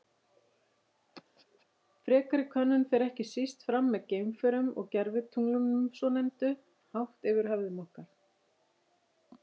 Frekari könnun fer ekki síst fram með geimförum og gervitunglunum svonefndu, hátt yfir höfðum okkar.